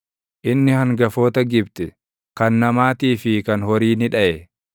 Inni hangafoota Gibxi, kan namaatii fi kan horii ni dhaʼe.